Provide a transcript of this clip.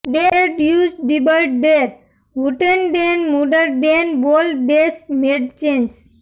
ડેર જ્યુજ જીબર્ટ ડેર વુટેનડેન મુટ્ટર ડેન બોલ ડેસ મૅડચેન્સ